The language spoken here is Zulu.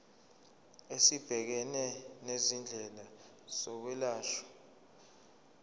esibhekene nezindleko zokwelashwa